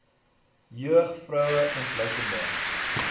jeug vroue ontluikende